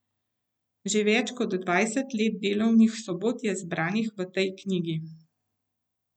Za več kot dvajset let delovnih sobot je zbranih v tej knjigi.